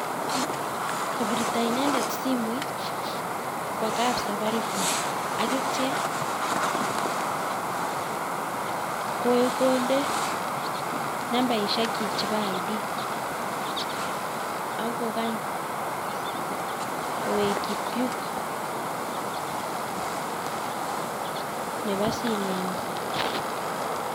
Kobirto inendet simoit kwa kaab safaricom ak itya kondee nambaishek chii chebo ID ak kokang kowekchi puk nebo simenyin